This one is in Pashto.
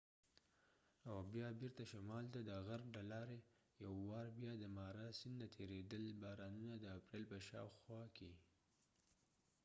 او بیا بیرته شمال ته د غرب د لارې ،یو وار بیا د مارا سیند نه تیریدل، بارانونه د اپریل په شا او خوا کې